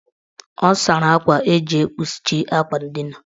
Ọ sara akwa eji ekpuchi akwa ndina.